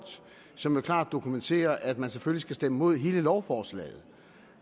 som klart dokumenterer at man selvfølgelig skal stemme imod hele lovforslaget